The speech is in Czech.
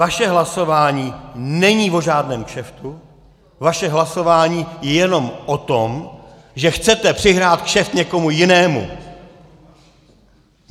Vaše hlasování není o žádném kšeftu, vaše hlasování je jenom o tom, že chcete přihrát kšeft někomu jinému.